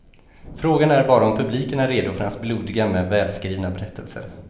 Frågan är bara om publiken är redo för hans blodiga men välskrivna berättelser.